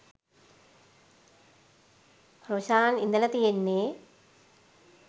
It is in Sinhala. රොෂාන් ඉඳලා තියෙන්නේ